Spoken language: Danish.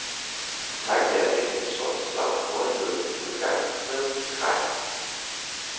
Takket været mændene i sort slap nordjyderne endnu en gang med skrækken.